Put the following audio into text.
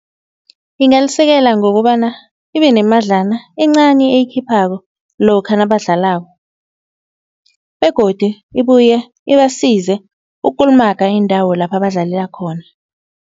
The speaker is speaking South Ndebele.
Ingalisekela ngokobana ibe nemadlana encani eyikhiphako lokha nabadlalako begodu ibuye ibasize ukukulumaga iindawo lapha badlalela khona.